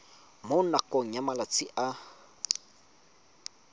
mo nakong ya malatsi a